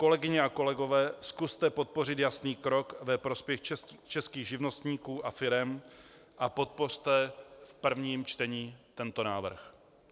Kolegyně a kolegové, zkuste podpořit jasný krok ve prospěch českých živnostníků a firem a podpořte v prvním čtení tento návrh.